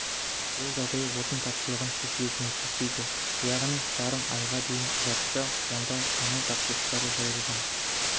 бұл жағдай отын тапшылығын шешуге көмектеспейді яғни жарым айға дейін ұзартса сонда мұнай тапшылықтары жойылған